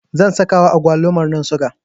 zan sakawa agwalumarnan siga